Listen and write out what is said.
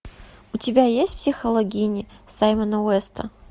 у тебя есть психологини саймона уэста